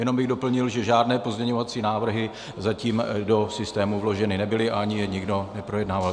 Jenom bych doplnil, že žádné pozměňovací návrhy zatím do systému vloženy nebyly a ani je nikdo neprojednával.